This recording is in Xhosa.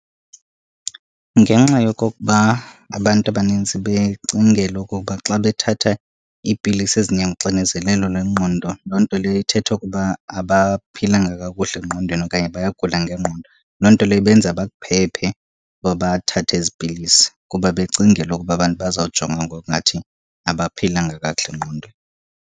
ugenxa yokokuba abantu abaninzi becingela okokuba xa bethatha iipilisi ezinyanga uxinezelelo lwengqondo loo nto leyo ithetha okuba abaphilanga kakuhle engqondweni okanye bayagula ngengqondo. Loo nto leyo ibenza bakuphephe uba bathathe ezi pilisi, kuba becingela ukuba abantu bazawujonga ngokungathi abaphilanga kakuhle engqondweni.